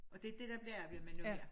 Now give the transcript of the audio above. Og det dét der bliver arbejdet med nu her